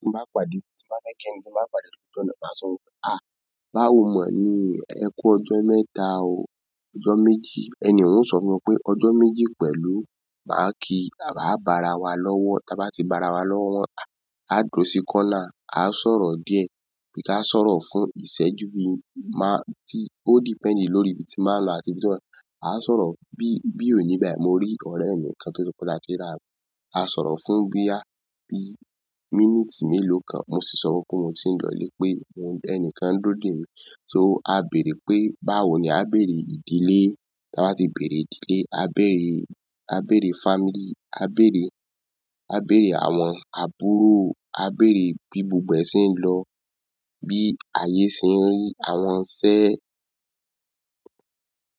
Bí mo bá pàdé ẹnikẹ́ni tí mo ba ń pàdé ló ojuona, màá sọ wípé, "à, báwo mọ̀ ní ẹ kú ọjọ́ mẹ́ta òó, ọjọ́ méjì?" Ẹnì ohun o sọ fún mi wípé ọjọ́ méjì pẹ̀lú máàkí, à bo ara wa lọ́wọ́, tí a bá ti bo ara wa lọ́wọ́, a dúró sí kọ́nà, a sọ̀rọ̀ díẹ̀, bí ká sọ̀rọ̀ fún ìṣẹ́jú bí i máà, ó depend lórí ibi tí n bà n lọ àti bí ti ọ́ n lọ. A sọ̀rọ̀ bí, bí òní báyìí, mo rí ọ̀rẹ́ mi kan tó ti pe ta a ti rira. A sọ̀rọ̀ fún bí i, bí i míníìtì mélòó kan. Mo sì sọ wípé mo ti ń lọlé pé ẹni kan ń dúró de mi. So a béèrè pé, báwo ni nǹkan a béèrè ìdílé? Tí a bá ti béèrè ìdílé, a béèrè, a béèrè family, a béèrè, a béèrè àwọn àbúrò, a béèrè bí gbogbo ẹ̀ se n ń lọ, bí ayé sì ń rí àwọn iṣẹ́